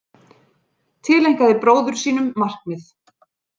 Tileinkaði bróður sínum markið